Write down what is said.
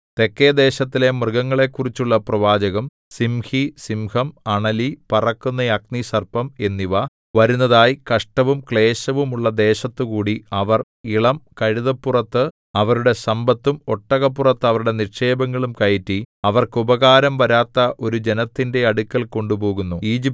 തെക്കെദേശത്തിലെ മൃഗങ്ങളെക്കുറിച്ചുള്ള പ്രവാചകം സിംഹി സിംഹം അണലി പറക്കുന്ന അഗ്നിസർപ്പം എന്നിവ വരുന്നതായി കഷ്ടവും ക്ലേശവും ഉള്ള ദേശത്തുകൂടി അവർ ഇളം കഴുതപ്പുറത്തു അവരുടെ സമ്പത്തും ഒട്ടകപ്പുറത്തു അവരുടെ നിക്ഷേപങ്ങളും കയറ്റി അവർക്ക് ഉപകാരം വരാത്ത ഒരു ജനത്തിന്റെ അടുക്കൽ കൊണ്ടുപോകുന്നു